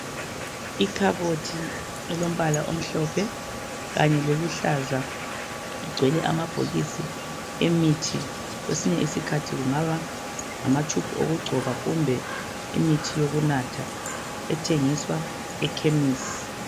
Ikhabothi elombala omhlophe kanye loluhlaza igcwele amabhokisi emithi kwesinye isikhathi kungaba ngama tube okugcoba kumbe imithi yokunatha ethengiswa ekhemisi.